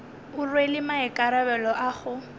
o rwele maikarabelo a go